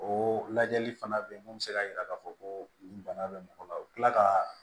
O lajɛli fana bɛ yen mun bɛ se k'a jira k'a fɔ ko bana bɛ mɔgɔ la u bɛ tila ka